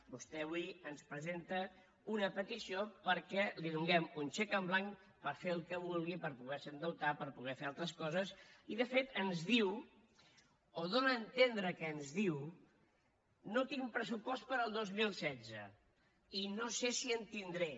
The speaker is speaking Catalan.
vostè avui ens presenta una petició perquè li donem un xec en blanc per fer el que vulgui per poder se endeutar per poder fer altres coses i de fet ens diu o dóna a entendre que ens diu no tinc pressupost per al dos mil setze i no sé si en tindré